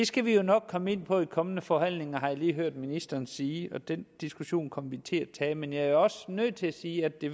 skal vi jo nok komme ind på i de kommende forhandlinger har jeg lige hørt ministeren sige og den diskussion kommer vi til at tage men jeg er også nødt til at sige at det